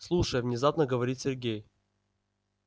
слушай внезапно говорит сергей